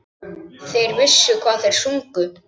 Þeir vissu hvað þeir sungu.